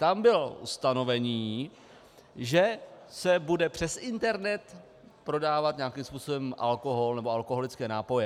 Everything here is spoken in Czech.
Tam bylo ustanovení, že se bude přes internet prodávat nějakým způsobem alkohol nebo alkoholické nápoje.